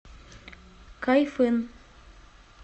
кайфын